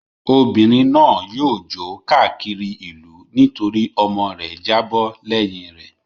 Obìnrin náà yóò jó káàkiri ìlú nítorí ọmọ rẹ̀ jábọ́ lẹ́yìn rẹ̀.